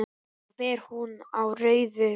Þá fer hún á rauðu.